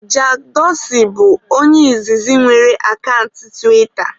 Jack Dorsi bụ onye izizi nwere akant tiwita